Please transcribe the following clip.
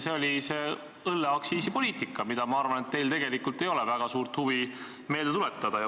See oli see õlleaktsiisipoliitika, mida, ma arvan, teil ei ole väga suurt huvi meelde tuletada.